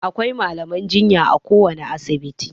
Akwai malaman jinya a kowane asibiti.